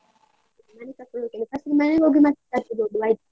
ಮನೆಗೆ ಕರ್ಕೊಂಡು ಹೋಗ್ತೇನೆ. first ಗೆ ಮನೆಗೆ ಹೋಗಿ ಮತ್ತೆ ಜಾತ್ರೆಗೆ ಹೋಗುವ ಆಯ್ತಾ?